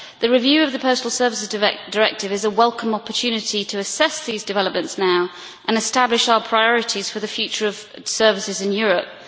The review of the Postal Services Directive is a welcome opportunity to assess these developments now and establish our priorities for the future of services in Europe.